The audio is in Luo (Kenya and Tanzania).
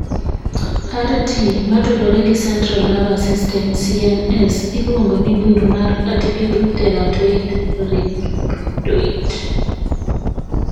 RT matudore gi central nervous system (CNS) iluongo ni bur ma atypical teratoid rhabdoid .